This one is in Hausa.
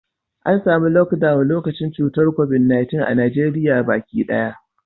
An samu Lockdown lokacin cutar Covid-19 a Najeriya baki daya.